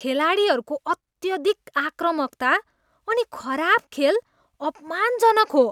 खेलाडीहरूको अत्यधिक आक्रामकता अनि खराब खेल अपमानजनक हो।